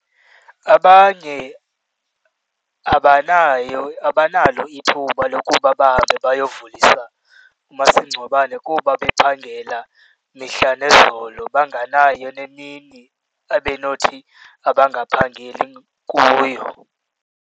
Abanye abanayo abanalo ithuba lokuba bahambe bayovulisa umasingcwabane kuba bephangela mihla nezolo, banganayo nemini abe nothi abangaphangeli kuyo.